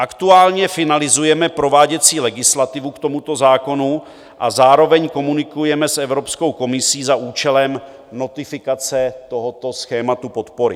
Aktuálně finalizujeme prováděcí legislativu k tomuto zákonu a zároveň komunikujeme s Evropskou komisí za účelem notifikace tohoto schématu podpory.